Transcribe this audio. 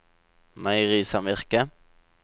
meierisamvirket